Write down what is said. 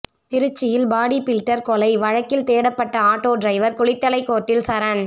திருச்சியில் body builder கொலை வழக்கில் தேடப்பட்ட ஆட்டோ டிரைவர் குளித்தலை கோர்ட்டில் சரண்